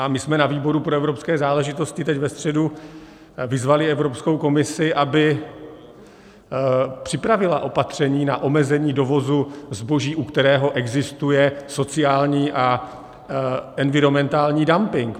A my jsme na výboru pro evropské záležitosti teď ve středu vyzvali Evropskou komisi, aby připravila opatření na omezení dovozu zboží, u kterého existuje sociální a environmentální dumping.